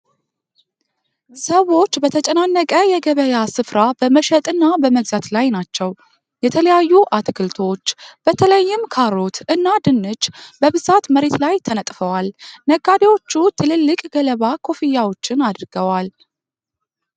ሰዎች በተጨናነቀ የገበያ ስፍራ በመሸጥና በመግዛት ላይ ናቸው። የተለያዩ አትክልቶች፣ በተለይም ካሮት እና ድንች በብዛት መሬት ላይ ተነጥፈዋል። ነጋዴዎቹ ትልልቅ ገለባ ኮፍያዎችን አድርገዋል።